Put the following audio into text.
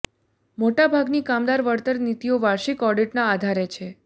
મોટા ભાગની કામદાર વળતર નીતિઓ વાર્ષિક ઓડિટના આધારે છે